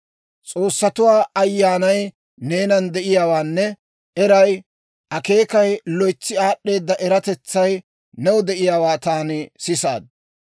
S'oossatuwaa ayyaanay neenan de'iyaawaanne eray, akeekayinne loytsi aad'd'eeda eratetsay new de'iyaawaa taani sisaad.